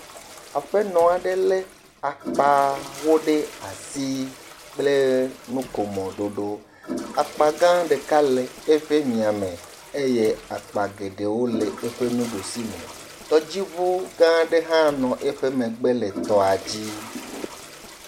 Aƒenɔ aɖe le akpawo ɖe asi kple nukomo ɖoɖo. Akpa gã ɖeka le eƒe mia me eye akpa geɖewo le eƒe nuɖusi me. Tɔdziŋu gã aɖe hã nɔ eƒe megbe le tɔa dzi.